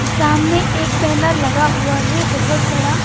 सामने एक बैनर लगा हुआ है बहुत बड़ा।